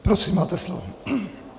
Prosím, máte slovo.